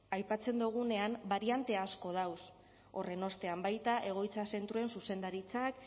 aipatzen dugunean bariante asko dagoz horren ostean baita egoitza zentroen zuzendaritzak